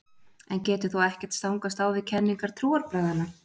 En getur þá ekkert stangast á við kenningar trúarbragðanna?